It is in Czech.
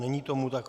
Není tomu tak.